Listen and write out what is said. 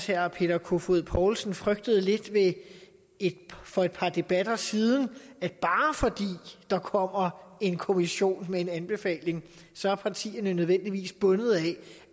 herre peter kofod poulsen ellers frygtede lidt for et par debatter siden at bare fordi der kommer en kommission med en anbefaling så er partierne nødvendigvis bundet af